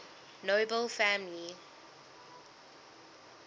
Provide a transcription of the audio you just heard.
nobel family